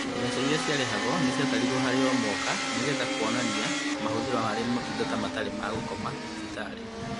Mbeca iria ciarĩhagwo nĩciatarirwo harĩ o mwaka nĩgetha kuonania mahũthĩro harĩ motungata matarĩ ma gũkoma thibitarĩ